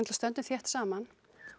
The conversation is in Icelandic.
stöndum þétt saman